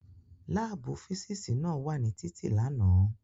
Láàbù físísì náà wà ní títì lánàá